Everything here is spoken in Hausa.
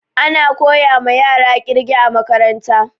Ana koyama yara ƙirge a makaranta